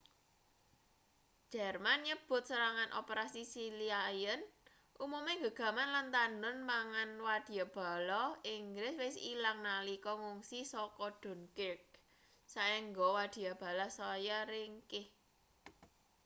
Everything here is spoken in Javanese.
jerman nyebut serangan operasi sealion umume gegaman lan tandhon pangan wadyabala inggris wis ilang nalika ngungsi saka dunkirk saéngga wadyabala saya ringkih